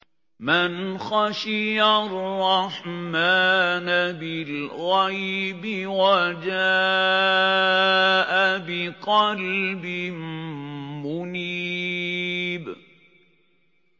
مَّنْ خَشِيَ الرَّحْمَٰنَ بِالْغَيْبِ وَجَاءَ بِقَلْبٍ مُّنِيبٍ